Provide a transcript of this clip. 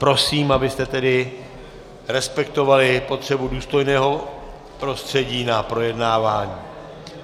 Prosím, abyste tedy respektovali potřebu důstojného prostředí na projednávání.